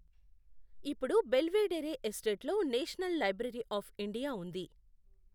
ఇప్పుడు బెల్వెడెరే ఎస్టేట్లో national library of India ఉంది.